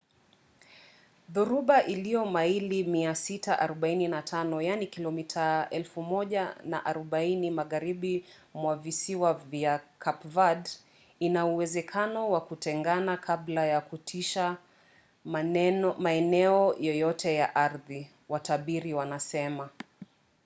dhoruba iliyo maili 645 kilomita 1040 magharibi mwa visiwa vya cape verde ina uwezekano wa kutengana kabla ya kutisha maeneo yoyote ya ardhi watabiri wanasema